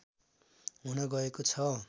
हुन गएको छ